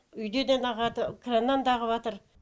үйден де ағады краннан да ағыватр